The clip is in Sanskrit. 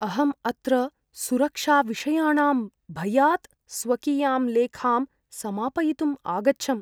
अहम् अत्र सुरक्षाविषयाणां भयात् स्वकीयां लेखां समापयितुम् आगच्छम्।